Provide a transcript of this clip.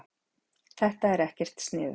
Þetta er ekkert sniðugt.